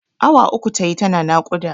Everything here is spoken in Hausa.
Awa uku tayi tana naƙuda.